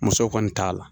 Musow kɔni t'a la